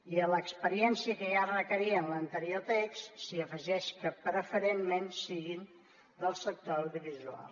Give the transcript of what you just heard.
i a l’experiència que ja es requeria en l’anterior text s’hi afegeix que preferentment siguin del sector audiovisual